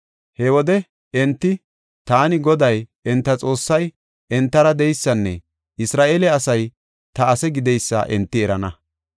He wode enti taani Goday, enta Xoossay entara de7eysanne Isra7eele asay ta ase gideysa enti erana.